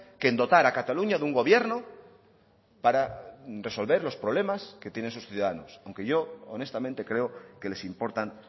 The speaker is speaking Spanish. que en dotar a cataluña de un gobierno para resolver los problemas que tienen su ciudadanos aunque yo honestamente creo que les importan